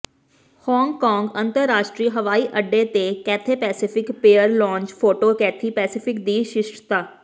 Hong Kong ਅੰਤਰਰਾਸ਼ਟਰੀ ਹਵਾਈ ਅੱਡੇ ਤੇ Cathay Pacific pier lounge photo Cathay Pacific ਦੀ ਸ਼ਿਸ਼ਟਤਾ